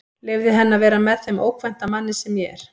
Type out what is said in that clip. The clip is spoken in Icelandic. Leyfði henni að vera með þeim ókvænta manni sem ég er.